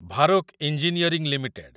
Varroc engineering limited